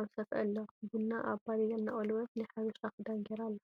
ኣብ ሰፍኢ ኣሎ። ቡና ኣብ ባዴላ እናቆለወት ናይ ሓበሻ ክዳን ጌራ ኣላ።